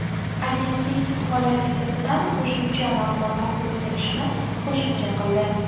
Agentlik holat yuzasidan qo‘shimcha ma’lumot taqdim etilishini qo‘shimcha qildi.